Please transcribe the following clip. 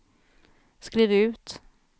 skriv ut